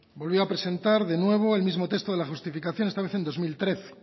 volvió a presentar de nuevo el mismo texto de la justificación esta vez en dos mil trece